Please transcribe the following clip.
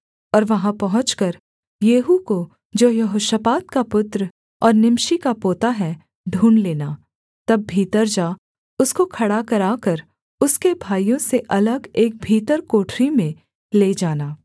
और वहाँ पहुँचकर येहू को जो यहोशापात का पुत्र और निमशी का पोता है ढूँढ़ लेना तब भीतर जा उसको खड़ा कराकर उसके भाइयों से अलग एक भीतर कोठरी में ले जाना